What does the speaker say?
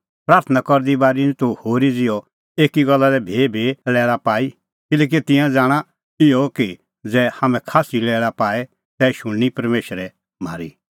प्राथणां करदी बारी निं तूह होरी ज़िहअ एकी गल्ला लै भीभी लैल़ा पाई किल्हैकि तिंयां ज़ाणा इहअ कि ज़ै हाम्हैं खास्सी लैल़ा पाऐ तै शुणनी परमेशर म्हारी